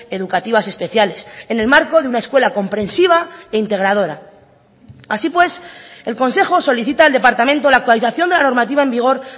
educativas especiales en el marco de una escuela comprensiva e integradora así pues el consejo solicita al departamento la actualización de la normativa en vigor